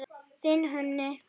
Þinn Húni.